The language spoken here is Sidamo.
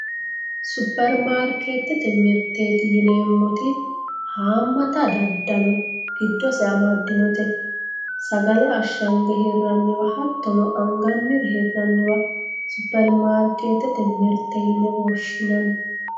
superimaarikeettete mirteeti yineemmoti haammata daddalo giddose amaddinote sagale ashshange hirraanniwa hattono angannire hirranniwa superimaarikeettete mirte yine woshshinanni.